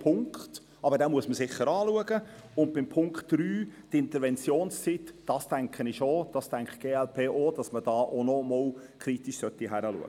Auch die Ziffer 3, die Interventionszeit, sollte man noch einmal kritisch prüfen.